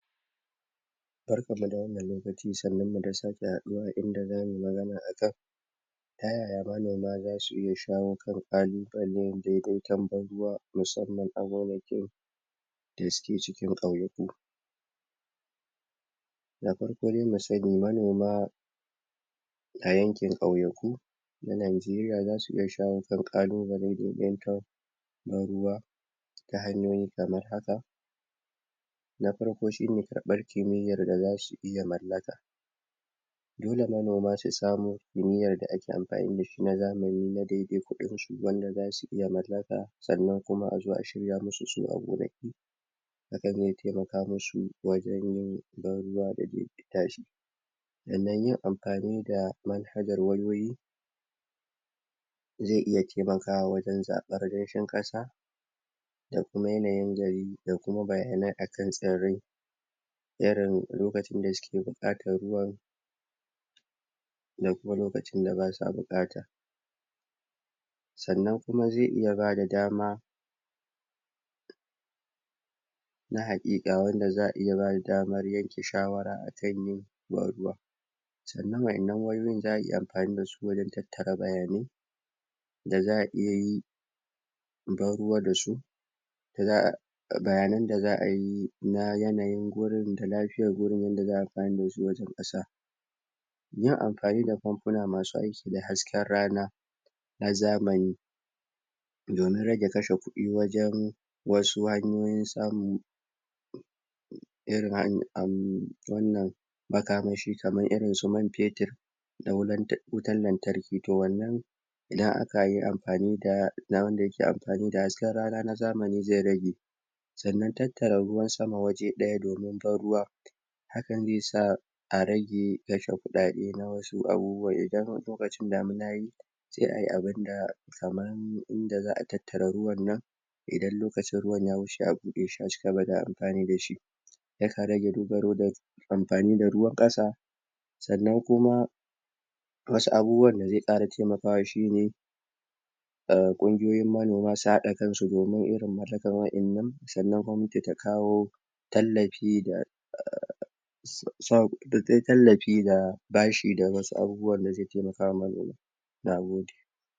Barkan mu da wannan lokaci, sannun mu da sake haduwa a inda za mu yi magana akan tayaya manoma za su iya shawon [inaudible segment] da suke cikin kauyaku da farko de mu sani, manoma a yanken kauyaku na Najeriya za su iya shawon kan kallubalai domin na ruwa ta hanyoyi kamar haka na farko shi ne karban kimiyar da za su iya mallaga dole manoma su samu neyar da ake amfani da shi na zamani na daidai kudin su wanda za su iya mallaka tsannan a zo a shirya musu a gonaki yakan temaka musu wajen yin dan ruwa da ke kin tashe tsannan yin amfani da ze iya taimaka wajen zabbar racen kasa da kuma yanayin jare da bayanai akan tsirre irin lokacin da suke bukatan ruwa da kuma lokacin da basuwa bukata tsanan kuma ze iya ba da dama na hakika wanda za'a iya ba da daman yanke shawara tsannan wadannan wayoyi za a yi amfani da su wajen tattara bayanai da za iya yi da su za'a bayanan da za'a ye na yanayin gonan da lafiyar wurin wanda za'a yi amfani da su wajen kasa yin amfani da kamfuna masu aiki da hasken rana na zamani domin raje kashe kudin wajen wasu hanyoyin samun irin wannan makamashi irin su man petur wutan lantarki, toh wannan idan aka yi amfani da, ina wanda yake amfani da hasken rana na zamani ze rage sannan tatara ruwan sama waje daya domin bar ruwa hakan de sa a rage kashe kudade na wasu abubuwa lokacin damina ya yi sai ayi abun da kaman inda za'a tattara ruwan nan indan lokacin ruwan ya wuce a bude shi amfani da shi yake rage duba amfani da ruwan kasa tsannan kuma wasu abubuwan da ze kara temakawa shi ne kungiyoyin manoma su hada kan su domin irin mallaka wadannan, tsanan muce ta kawo tallafi da tallafi da bashi da wasu abubuwan da ze taimaka wa manoma